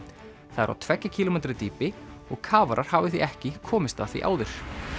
það er á tveggja kílómetra dýpi og kafarar hafa því ekki komist að því áður